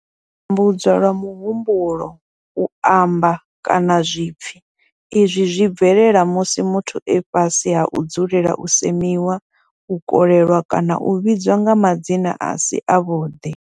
U tambudzwa lwa muhumbulo, u amba, kana zwipfi izwi zwi bvelela musi muthu e fhasi ha u dzulela u semiwa, u kolelwa kana u vhidzwa nga madzina a si avhuḓi.